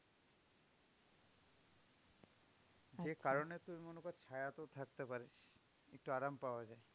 সেই কারণে তুই মনে কর ছায়াতেও থাকতে পারিস, একটু আরাম পাওয়া যায়।